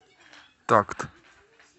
такт